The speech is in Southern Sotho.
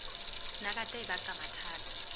nagata e baka mathata a